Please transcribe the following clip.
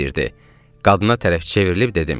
Qadına tərəf çevrilib dedim: